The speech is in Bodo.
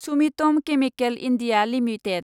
Sumitomo chemical India limited